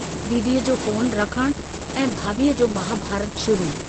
दीदीअ जो फोन रखणु ऐं भाभीअ जो महाभारतु शुरु।